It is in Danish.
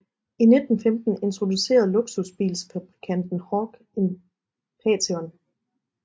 I 1915 introducerede luksusbilsfabrikanten Horch en Phaeton